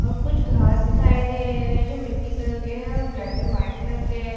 और कुछ घास दिखाई दे रहे हैं जो मिट्टी कलर के हैं और ब्लैक एंड वाइट कलर के है।